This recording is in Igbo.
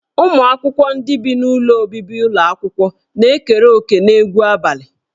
Ụmụ akwụkwọ ndị bi n'ụlọ obibi ụlọ akwụkwọ na-ekere òkè n'egwu abalị